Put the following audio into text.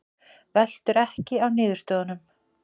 Veltur ekki á niðurstöðunum